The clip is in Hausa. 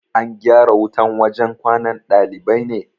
An gyara wutan wajan kwanan ɗalibai ne?